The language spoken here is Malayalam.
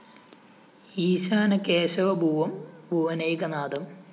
ഈശാന കേശവ ഭൂവം ഭുവനൈകനാഥം